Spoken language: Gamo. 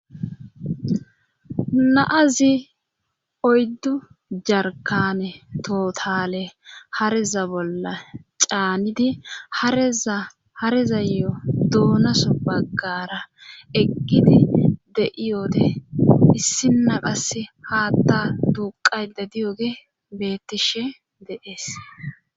Naazi oyddu jarkane tootale hareza bolla caanidi aezaharezayo duunaso baggara eggidi de'iyoode issinaqase haatta duuqayde diyoge beettishe deees.